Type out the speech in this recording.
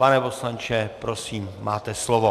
Pane poslanče, prosím, máte slovo.